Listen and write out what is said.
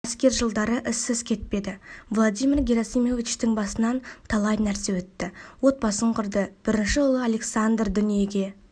әскер жылдары ізсіз кетпеді владимир герасимовичтің басынан талай нәрсе өтті отбасын құрды бірінші ұлы александр дүниеге